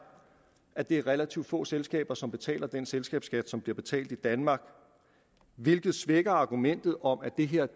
at det er relativt få selskaber som betaler den selskabsskat som bliver betalt i danmark hvilket svækker argumentet om at det her